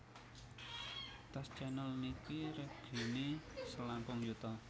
Tas Chanel niki regini selangkung yuta